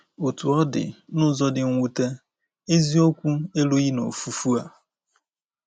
Otú ọ dị, n’ụzọ dị mwute, eziokwu erughị na ofufu a.